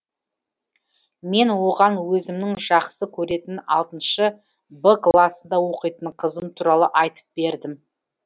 мен оған өзімнің жақсы көретін алтыншы б класында оқитын қызым туралы айтып бердім